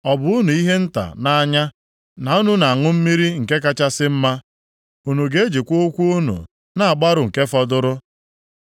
Ọ bụ unu ihe nta nʼanya na unu na-ata nri kachasị mma? Unu ga-ejikwa ụkwụ zọtọsịa nke fọdụrụ? Ọ bụ unu ihe nta nʼanya na unu na-aṅụ mmiri nke kachasị mma? Unu ga-ejikwa ụkwụ unu na-agbarụ nke fọdụrụ?